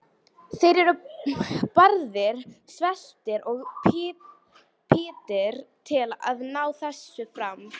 Þeir eru barðir, sveltir og píndir til að ná þessu fram.